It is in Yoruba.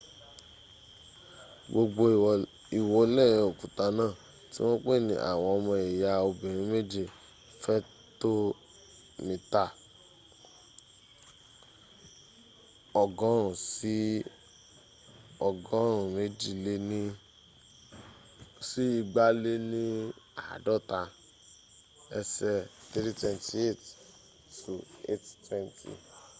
gbogbo iwole okuta na ti won pe ni awon omo iya obirin meje” fe to mita 100 si 250 ese 328 to 820